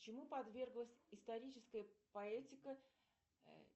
чему подверглась историческая поэтика